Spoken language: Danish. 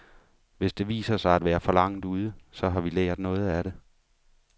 Hvis det viser sig at være for langt ude, så har vi lært noget af det.